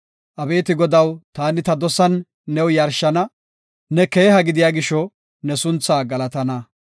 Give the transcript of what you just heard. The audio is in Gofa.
Abeeti Godaw, taani ta dosan new yarshana; ne keeha gidiya gisho ne sunthaa galatana.